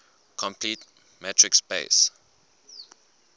complete metric space